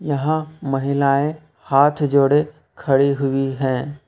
यहां महिलाएं हाथ जोड़े खड़ी हुई है।